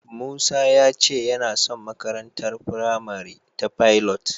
Musa ya ce yana son makarantar firamare ta Pilot.